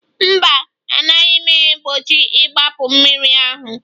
Mba, a naghị egbochi igbapu mmiri ahụ